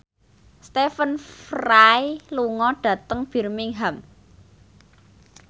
Stephen Fry lunga dhateng Birmingham